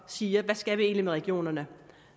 siger hvad skal vi egentlig med regionerne